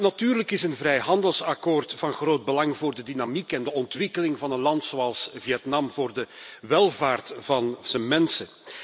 Natuurlijk is een vrijhandelsakkoord van groot belang voor de dynamiek en de ontwikkeling van een land als Vietnam, voor de welvaart van zijn mensen.